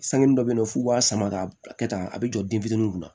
Sanni dɔ be yen nɔ f'u b'a sama ka kɛ tan a be jɔ den fitiniw kunna